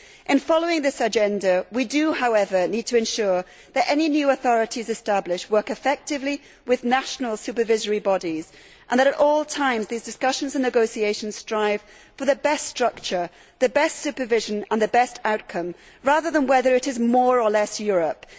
In following this agenda, we do, however, need to ensure that any new authorities established work effectively with national supervisory bodies and that, at all times, these discussions and negotiations strive for the best structure, the best supervision and the best outcome, rather than whether it is more' or less Europe'.